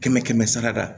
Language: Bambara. Kɛmɛ kɛmɛ sara da